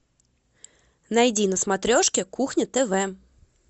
найди на смотрешке кухня тв